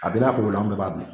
A bɛ n'a fɔ o la an bɛɛ b'a di